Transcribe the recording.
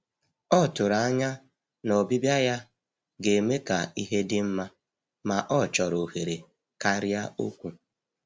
Ọ tụrụ anya na ọbịbịa ya ga-eme ka ihe dị mma, ma ọ chọrọ ohere karịa okwu.